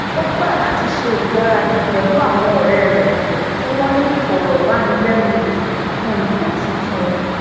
ó gba lati ṣe igbaradi pẹlu awọn ọrẹ́ rẹ ti wọ́n ni ìfọ̀rọ̀wánilẹ́nuwò fun ipo tuntun